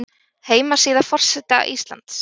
Heimasíða forseta Íslands